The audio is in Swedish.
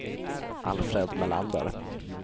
Alfred Melander